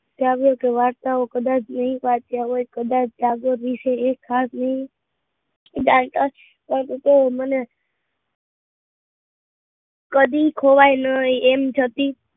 જાગો તો કદાચ વાર્તાઓ નહીં વાંચ્યા હોય, કદાચ ટાગોર વિષે એ ખાસ ઉદારતા જ એમને કદી ખોવાય નહીં એમ જતી